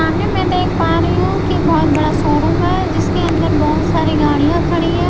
सामने मैं देख पा रही हूं कि बहुत बड़ा शोरूम है जिसके अंदर बहुत सारी गाड़ियां खड़ी है।